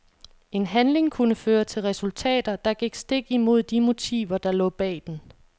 En handling kunne føre til resultater, der gik stik imod de motiver der lå bag den.